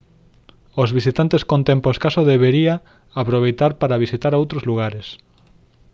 os visitantes con tempo escaso debería aproveitar para visitar outros lugares